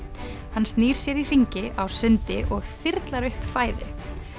hann snýr sér í hringi á sundi og upp fæðu